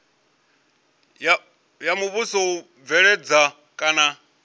ya muvhuso u bveledza kana